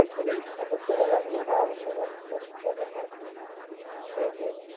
અને મુખ્ય અમુક છુટ્ટા કરી નાખજો થઇ જ્યુ